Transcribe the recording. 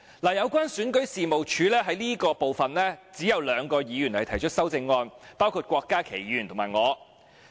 有關選舉事務處這部分，只有兩位議員提出修正案，包括郭家麒議員和我。